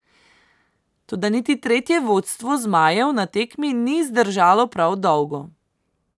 Toda niti tretje vodstvo zmajev na tekmi ni zdržalo prav dolgo.